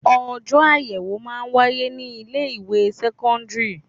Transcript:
Ojọ́ ayẹwo máa ń wáyé ní ilé ìwé sẹ́kọ́ńdírì.